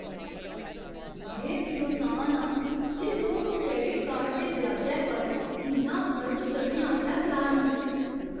में बिरोसान आं जे लोक क्रैडिट कार्ड दे ब्याजै पर इन्ना खर्च करने आस्तै त्यार न।